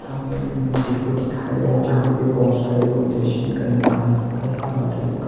यहां पर एक मंदिल को दिखाया गया है जहां पे बहोत सारे लोग दर्शन करने आए हुए हैं और एक--